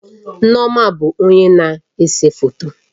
Nneoma bụ onye na-ese foto